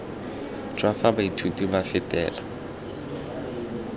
jwa fa baithuti ba fetela